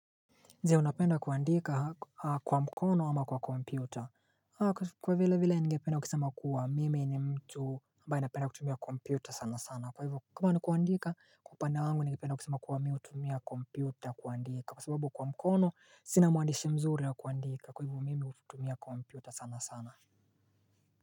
Je, unapenda kuandika kwa mkono ama kwa kompyuta? Kwa vile vile ningependa kusema kuwa mimi ni mtu ambaye anapenda kutumia kompyuta sana sana. Kwa hivyo kama nikuandika kwa upande wangu ningependa kusema kuwa mimi hutumia kompyuta kuandika, kwa sababu kwa mkono sina muandishi mzuri wa kuandika. Kwa hivyo mimi hutumia kompyuta sana sana.